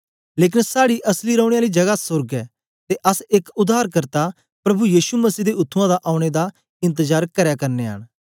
लेकन साड़ी असली रौने आली जगा सोर्ग ऐ ते अस एक उद्धारकर्ता प्रभु यीशु मसीह दे उत्त्थुआं दा औने दा इंतजार करै करनयां न